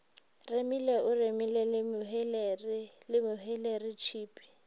remile o remile le mehweleretshipi